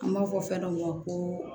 An b'a fɔ fɛn dɔ ma ko